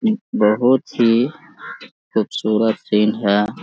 बहुत ही खूबसूरत सीन है।